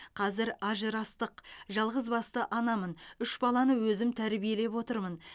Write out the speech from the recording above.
қазір ажырастық жалғызбасты анамын үш баланы өзім тәрбиелеп отырмын